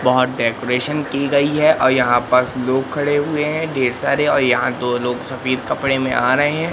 बहुत डेकोरेशन की गई है और यहां पर लोग खड़े हुए हैं ढेर सारे और यहां दो लोग सफेद कपड़े में आ रहे हैं।